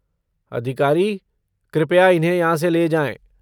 अधिकारी, कृपया इन्हें यहाँ से ले जाएँ।